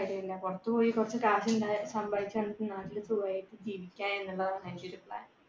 പുറത്ത് പോയിട്ട് കുറച്ച് കാശ് സമ്പാദിച്ചാലെ നാട്ടിൽ സുഖമായിട്ട് ജീവിക്കുക എന്നതാണ് എന്റെ ഒരു plan